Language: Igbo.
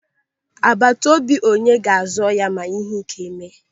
Agbatobi onye ga-azọ ya ma ihe ị́ké mee.